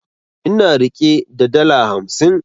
Ina rike da dala hamsin